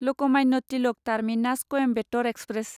Lokmanya Tilak terminus Coimbatore express